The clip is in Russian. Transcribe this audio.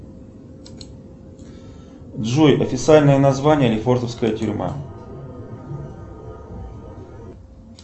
джой официальное название лефортовская тюрьма